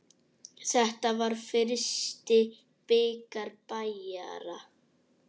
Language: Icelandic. Þetta var fyrsti bikar Bæjara.